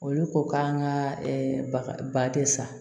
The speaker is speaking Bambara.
Olu ko k'an ka ba de san